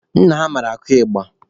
Nna ha mara akụ ịgba.